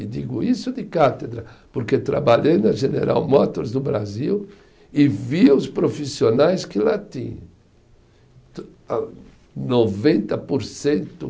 E digo isso de cátedra, porque trabalhei na General Motors do Brasil e vi os profissionais que lá tinham. Noventa por cento